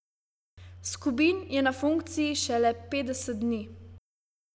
Skubin je na funkciji šele petdeset dni.